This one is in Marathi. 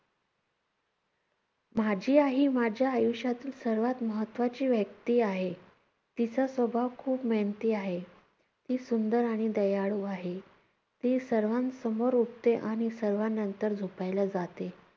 माझी आई ही माझ्या आयुष्यातील सर्वात महत्त्वाची व्यक्ती आहे. तिचा स्वभाव खूप मेहनती आहे. ती सुंदर आणि दयाळू आहे. ती सर्वांसमोर उठते आणि सर्वांनंतर झोपायला जाते.